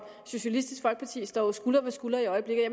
socialistisk folkeparti står jo skulder ved skulder i øjeblikket